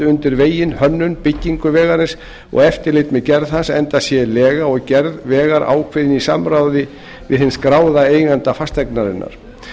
undir veginn hönnun byggingu vegarins og eftirlit með gerð hans enda sé lega og gerð vegar ákveðin í samráði við hinn skráða eiganda fasteignarinnar